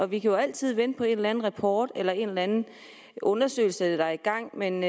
vi kan jo altid vente på en eller anden rapport eller en eller anden undersøgelse der er i gang men